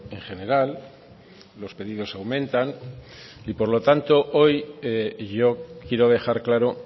en general los pedidos aumentan y por lo tanto hoy yo quiero dejar claro